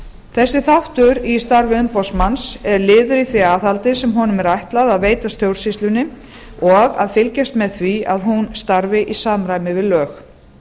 þessi þáttur í starfi umboðsmanns er liður í því aðhaldi sem honum er ætlað að veita stjórnsýslunni og að fylgjast með því að hún starfi í samræmi við lög